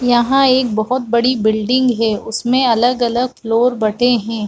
यहाँ एक बहुत बड़ी बिल्डिग है उसमे अलग-अगल फ्लोर बटे है।